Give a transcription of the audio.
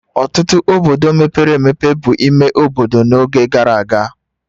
Ọtụtụ obodo mepere emepe bụ ime obodo n'oge gara aga